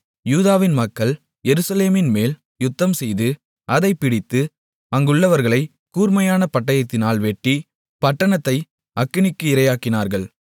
யூதாவின் மக்கள் எருசலேமின்மேல் யுத்தம்செய்து அதைப் பிடித்து அங்குள்ளவர்களை கூர்மையான பட்டயத்தினால் வெட்டி பட்டணத்தை அக்கினிக்கு இரையாக்கினார்கள்